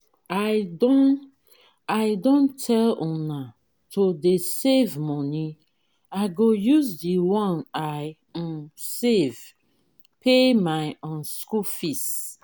i don i don tell una to dey save money i go use the one i um save pay my um school fees.